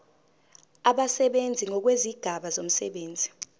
abasebenzi ngokwezigaba zomsebenzi